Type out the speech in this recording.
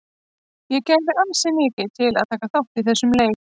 Ég gæfi ansi mikið til að taka þátt í þessum leik.